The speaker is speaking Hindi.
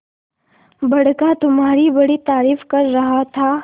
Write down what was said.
बड़का तुम्हारी बड़ी तारीफ कर रहा था